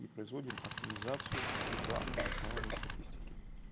и производим оптимизацию рекламы на основании статистики